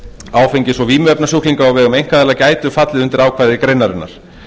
áfengis og vímuefnasjúklinga á vegum einkaaðila gætu fallið undir ákvæði greinarinnar